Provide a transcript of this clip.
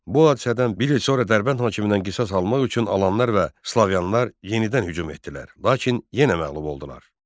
Bu hadisədən bir il sonra Dərbənd hakimindən qisas almaq üçün Alanlar və Slaviyalılar yenidən hücum etdilər, lakin yenə məğlub oldular.